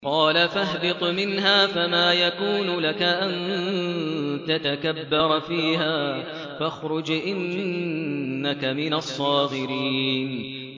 قَالَ فَاهْبِطْ مِنْهَا فَمَا يَكُونُ لَكَ أَن تَتَكَبَّرَ فِيهَا فَاخْرُجْ إِنَّكَ مِنَ الصَّاغِرِينَ